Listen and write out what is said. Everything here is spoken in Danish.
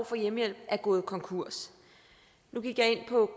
for hjemmehjælp er gået konkurs nu gik jeg ind på